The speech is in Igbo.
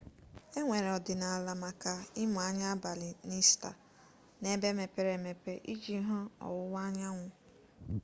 enwere ọdịnala maka ịmụ anya n'abalị ista n'ebe mepere emepe iji hụ ọwụwa anyanwụ